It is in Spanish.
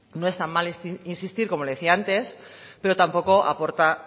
no está mal insistir como le decía antes pero tampoco aporta